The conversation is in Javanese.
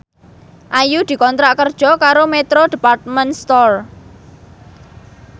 Ayu dikontrak kerja karo Metro Department Store